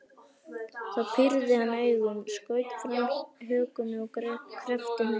Þá pírði hann augun, skaut fram hökunni og kreppti hnefana.